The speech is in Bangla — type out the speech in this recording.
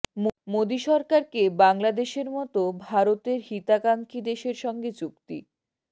মোদি সরকারকে বাংলাদেশের মতো ভারতের হিতাকাঙ্ক্ষী দেশের সঙ্গে চুক্তি